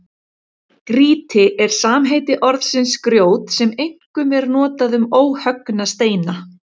Grýti er samheiti orðsins grjót sem einkum er notað um óhöggna steina.